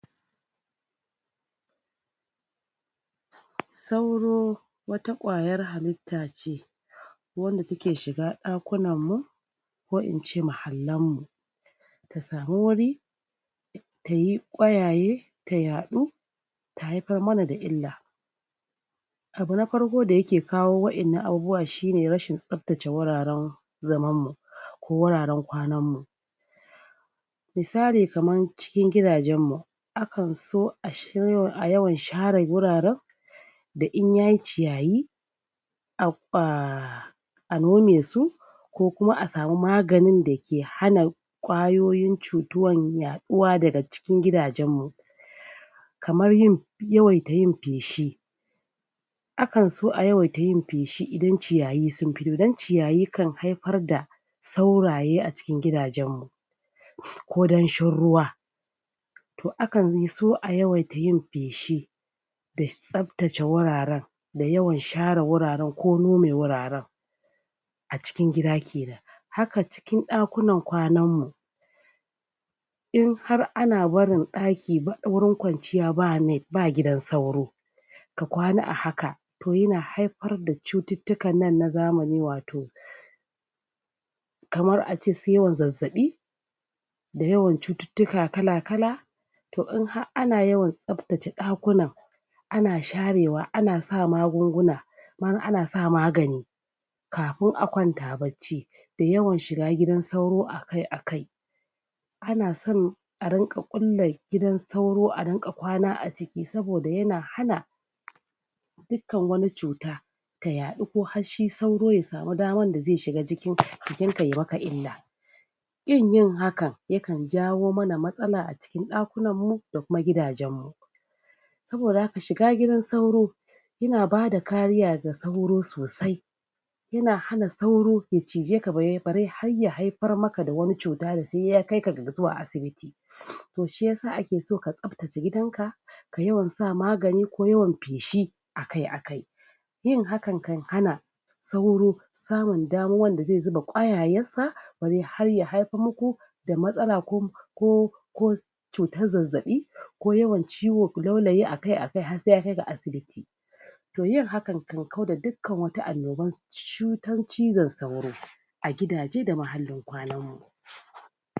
Sauro wata ƙwayar halitta ce wanda take shiga ɗakunammu ko in ce mahallanmmu, ta samu wuri tayi ƙwayaye ta yaɗu ta haifar mana da illa. Abu na farko da yake kawo wa'innan abubuwa shine rashin tsaftace wuraren zamammu ko wuraren kwanammu, misali: Kaman cikin gidajenmmu akan so a a yawan share wuraren da in yayi ciyayi a a a nome su kokuma a samu maganin da ke hana ƙwayoyin cutuwan yaɗuwa daga cikin gidajenmmu, kamar yin yawaita yin feshi, akan so a yawaita yin feshi idan ciyayi sun fi dan ciyayi sukan haifar da sauraye a cikkin gidajennmu, ko dan shin ruwa to akan so a yawaita yin feshi da tsaftace wuraren da yawan share wuraran ko nome wuraran a cikin gida kenan, haka cikin ɗakunan kwananmmu in har ana barin ɗaki ba wurin kwanciya ba net ba gidan sauro ka kwana a haka, to yana haifar da cututtukan nan na zamani wato kamar a ce su yawan zazzaɓi, da yawan cututtuka kala-kala, to in ha'aana yawan tsaftace ɗakunan ana sharewa ana sa magunguna wani ana sa magani kafin a kwanta bacci, da yawan shiga gidan sauro akai akai, ana san a rinƙa ƙulla gidan sauro a rinƙa kwana a ciki saboda yana hana dikkan wani cuta ta yaɗu ko hashshi sauro ya samu daman da ze shiga jikin jikinka yai maka illa, ƙin yin hakan yakan jawo mana matsala a cikin ɗakunanmmu da kuma gidajenmmu, saboda haka shiga gidan sauro yana bada kariya ga sauro sosai yana hana sauro ya cijeka bare bare har ya haifar maka da wani cuta da sai ya kaika ga zuwa asibiti, to shi yasa ake so ka tsaftace gidanka ka yawan sa magani ko yawan feshi akai akai, yin hakan kan hana sauro samun damuwan da ze zuba ƙwayayessa bare har ya haifammaku da matsala kum ko ku cutazzazaɓi ko yawan ciwo laulayi akai akai hassai ya kai ga asibiti, to yin haka kan kauda dukkan wata annoban cutan cizon sauro a gidaje da mahallin kawananmmu.